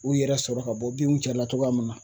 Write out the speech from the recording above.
U yɛrɛ sɔrɔ ka bɔ binw cɛla cogoya min na